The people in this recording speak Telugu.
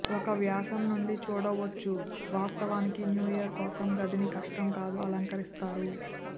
ఒక వ్యాసం నుండి చూడవచ్చు వాస్తవానికి న్యూ ఇయర్ కోసం గదిని కష్టం కాదు అలంకరిస్తారు